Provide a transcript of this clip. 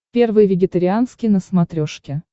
первый вегетарианский на смотрешке